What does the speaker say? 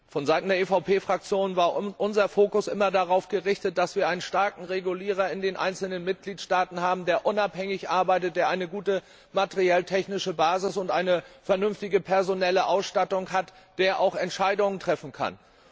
Von Seiten der EVP Fraktion war unser Fokus immer darauf gerichtet, dass wir einen starken Regulierer in den einzelnen Mitgliedstaaten haben, der unabhängig arbeitet, der eine gute materielltechnische Basis und eine vernünftige personelle Ausstattung hat, und der auch Entscheidungen treffen kann.